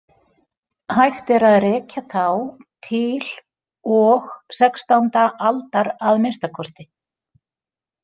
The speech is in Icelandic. Hægt er að rekja þá til og sextánda aldar að minnsta kosti.